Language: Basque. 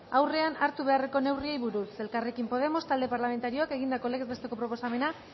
aurrean hartu beharreko neurriei buruz elkarrekin podemos talde parlamentarioak egindako legez besteko proposamena